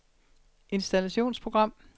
installationsprogram